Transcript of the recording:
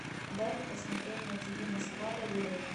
дай мне посмотреть на тв москва доверие